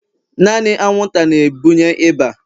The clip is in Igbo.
naanị anwụnta na-ebunye ịba